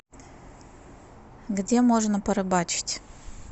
где можно порыбачить